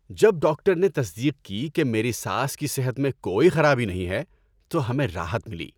جب ڈاکٹر نے تصدیق کی کہ میری ساس کی صحت میں کوئی خرابی نہیں ہے تو ہمیں راحت ملی۔